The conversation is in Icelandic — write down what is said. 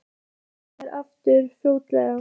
Hann hlýtur að skila sér aftur fljótlega